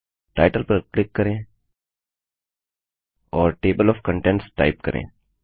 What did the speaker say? title पर click करें और टेबल ओएफ Contentsटाइप करें